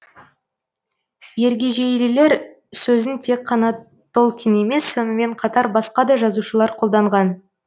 ергежейлілер сөзін тек қана толкин емес сонымен қатар басқа да жазушылар қолданған